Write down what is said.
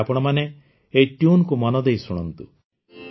ଏବେ ଆପଣମାନେ ଏହି ଟ୍ୟୁନ୍ ସ୍ୱର କୁ ମନ ଦେଇ ଶୁଣନ୍ତୁ